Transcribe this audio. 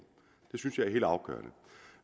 det synes jeg er helt afgørende